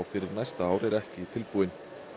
fyrir næsta ár er ekki tilbúin